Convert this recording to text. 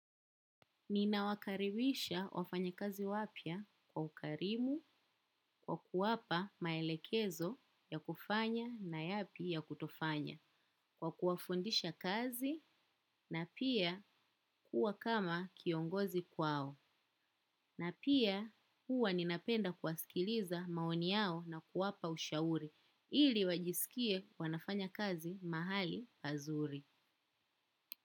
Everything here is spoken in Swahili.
Nina wakaribisha wafanyi kazi wapya kwa ukarimu, kwa kuwapa maelekezo ya kufanya na yapi ya kutofanya, kwa kuwafundisha kazi na pia kuwa kama kiongozi kwao. Na pia huwa ninapenda kuwaskiliza maoni yao na kuwapa ushauri, ili wajisikie wanafanya kazi mahali pazuri.